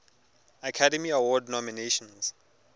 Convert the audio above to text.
academy award nominations